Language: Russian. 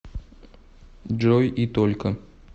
джой и только